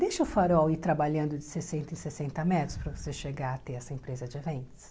Deixa o farol ir trabalhando de sessenta em sessenta metros para você chegar a ter essa empresa de eventos.